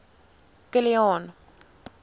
kilian